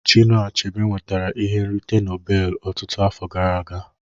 Chinua Achebe nwetara ihe nrite Nobel ọtụtụ afọ gara aga